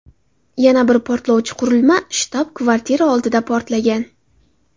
Yana bir portlovchi qurilma shtab-kvartira oldida portlagan.